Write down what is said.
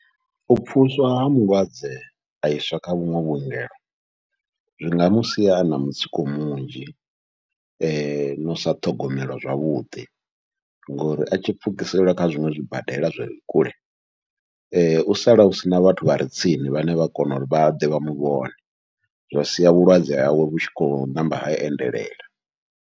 U pfhuluswa ha mulwadze aiswa kha vhuṅwe vhuongelo, zwi nga musia ana mutsiko munzhi nau sa ṱhogomelwa zwavhuḓi ngori atshi pfhukiselwa kha zwiṅwe zwibadela zwire kule u sala usina vhathu vhare tsini vhane vha kona uri vha ḓe vha muvhona, zwa sia vhulwadze hawe vhu tshi khou ṋamba ha endelela.